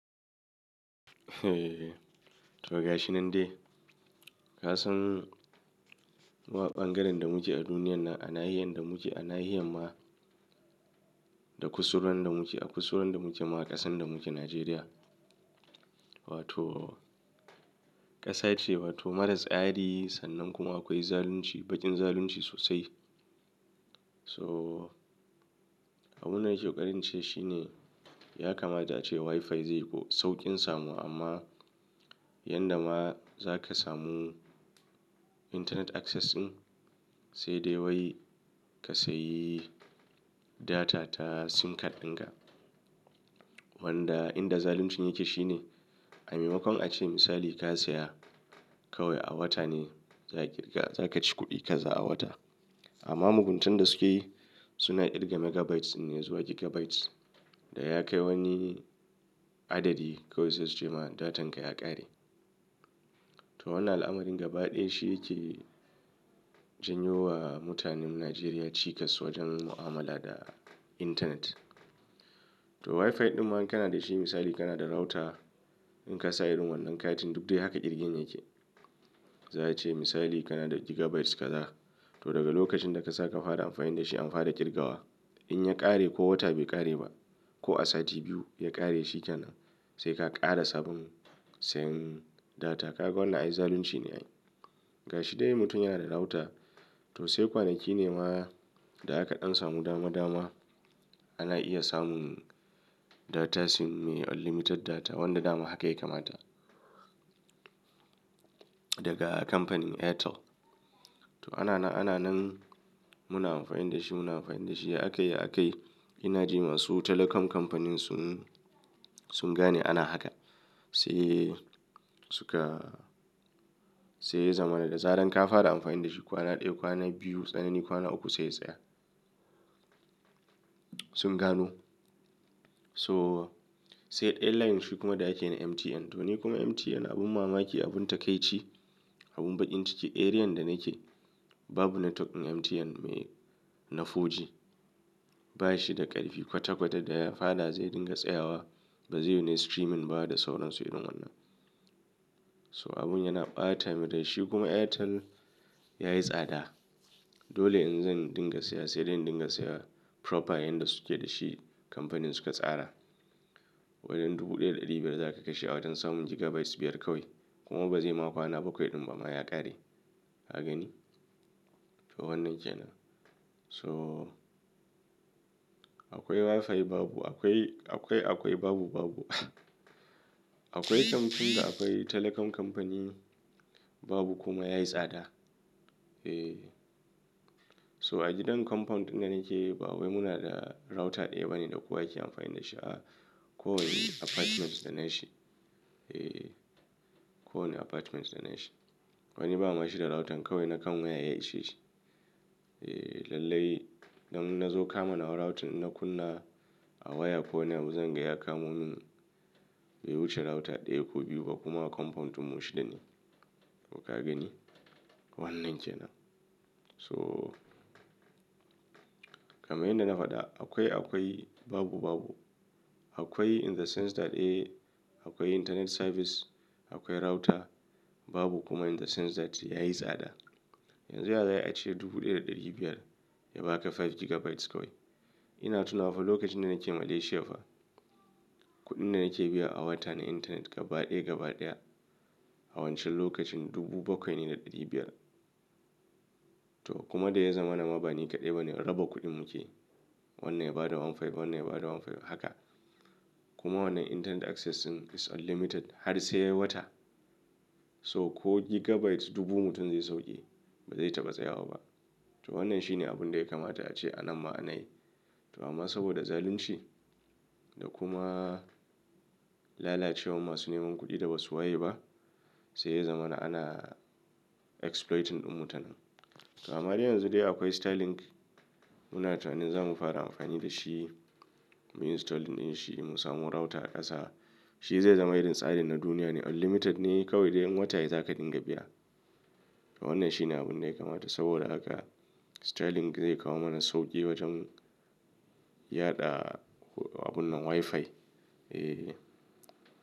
Eh, to gashi nan dai. Kasan wa ɓangaren da muke a duniyan nan, ana hiyan da muke, ana hiyan ma da kusuran da muke, a kusuran da muke, ma ƙasan da muke, Najeriya. Wato ƙasa ce wato maras tsari sannan kuma akwai zalunci, baƙin zalunci sosai. So abun da yake ƙarince shine ya kamata ce WiFi zai sauƙin samu amma yanda ma za ka samu internet access din sai dai wai ka sayi data ta SIM card dinka. Wanda inda zaluncin yake shine a maimakon a ce misali ka saya kawai a wata ne za a kirga, za ka ci kuɗin kaza a wata. Amma muguntan da suke yi suna ƙirga megabytes ne zuwa gigabytes da ya kai wani adadi kawai sai su ce ma datan ka ya ƙare. To wannan al'amarin gaba ɗaya shi yake janyo wa mutanen Najeriya cikas wajen mu'amala da internet. To WiFi ɗin ma in kana da shi misali kana da router in ka sa irin wannan katin duk dai haka ƙirgin yake. Zai ce misali kana da gigabytes kaza to daga lokacin da ka sa ka fara amfani da shi an fara ƙirgawa. In ya ƙare ko wata bai ƙare ba ko a sati biyu ya ƙare shi kenan sai ka ƙara sabon seyin data. Kaga wannan ai zalunci ne ai. Gashi dai mutum yana da router to sai kwanaki ne ma da aka ɗan samu dama dama ana iya samun data sim mai unlimited data wanda dama haka ya kamata daga kamfanin Airtel. To ana nan, ana nan muna amfani da shi, muna amfani da shi ya akayi, ya akayi. Ina ji masu telecom kamfanin sun, sun gane ana haka sai suka, sai ya zama da zarar ka fara amfani da shi kwana ɗaya, kwana biyu, tsanani kwana uku sai ya tsaya. Sun gano. So, sai airline shi kuma da ake na MTN. To ni kuma MTN abun mamaki, abun takaici, abun baƙin ciki. Area da nake babu network ɗin MTN mai, na 4G. Ba shi da ƙarfi kwata kwata da ya fara zai dinga tsayawa ba zai na streaming ba da sauran su irin wannan. So abun yana ɓata, mu da shi kuma Airtel yayi tsada. Dole in zan dinga siya sai dai in dinga siya proper yanda suke da shi kamfanin suka tsara. Wajen dubu ɗaya da ɗari biyar za ka kashe a watan samun gigabytes biyar kawai kuma ba zai ma kwana bakwai ɗin ba ma ya ƙare. Ka gani? To wannan kenan. So akwai WiFi babu, akwai, akwai, akwai, babu, babu. Akwai kamfanin da akwai telecom kamfani babu kuma yayi tsada. Eh. So a gidan compound ɗin da nake babu. Munada router ɗaya bane da kowa yake amfani da shi a ko wanne apartment da na shi. Eh, ko wanne apartment da na shi. Wani bawa bashi da router kawai nakan waya ya ishe shi. Eh, lallai. Nan ina zo kama na wa router na kunna a wayar ko wanni abu, zan gan ya kamo min. Bai wuce router ɗaya ko biyu ba kuma compound mutum mu shida. To ka gani? Wannan jiya na. So kama yanda na faɗa akwai akwai babu babu. Akwai in the sense that eh akwai internet service, akwai router babu kuma in the sense that yayi tsada. Yanzu ya za a yi a ce dubu ɗaya da ɗari biyar ya ba ka five gigabytes kawai. Ina tuna fa lokacin da nake Malaysia fa kuɗin da nake biya a wata na internet gaba ɗaya, gaba ɗaya a wancan lokacin dubu bakwai ne da ɗari biyar. To kuma da ya zamana ma ba ni kaɗai bane raba kuɗin muke. Wannan ya bada 1500, wannan ya bada 1500 haka. Kuma wannan internet access din is unlimited har sai wata. So ko gigabyte dubu mutum zai sauƙe ba zai taba tsayawa ba. To wannan shine abun da ya kamata a ce anan ma anayi. To amma saboda zalunci da kuma lalacewar masu neman kuɗi da basu waye ba sai ya zama da ana exploiting ɗin mutanen. To ama dai yanzu dai akwai Star link muna tunanin za mu fara amfani da shi. Mun yi install ɗin shi mun samu router a ƙasa. Shi zai zama irin tsarin na duniya ne unlimited ne kawai dai wata ya zaka dinga biya. To wannan shine abun da ya kamata saboda haka Starlink zai kawo mana sauƙi wajen yaɗa abun nan WiFi. Eh.